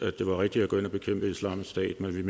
man